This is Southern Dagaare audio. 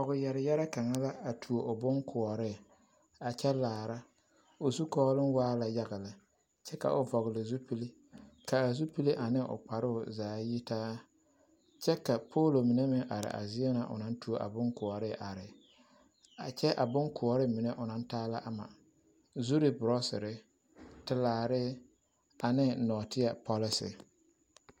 Pɔgeyɛreyɛrɛ kaŋ la a tuo o boŋkoɔree a kyɛ laara, o zukɔɔloŋ waa la yaga lɛ kyɛ ka o vɔgele zupili k'a zupili ane o kparoo zaa yitaa kyɛ ka poolo mine meŋ are a zie na o naŋ tuo a boŋkoɔree are a kyɛ a boŋkoɔree mine onaŋ taa la ama; zuri borɔsere, telaare, ane nɔɔteɛ pɔlese.